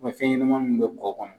fɛnɲɛnama munnu bɛ kɔ kɔnɔ